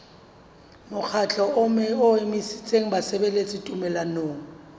mokgatlo o emetseng basebeletsi tumellanong